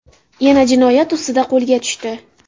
yana jinoyat ustida qo‘lga tushdi.